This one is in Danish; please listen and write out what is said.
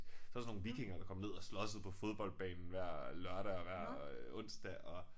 Så var der sådan nogle vikinger der kom ned og slåssede på fodboldbanen hver lørdag og hver øh onsdag og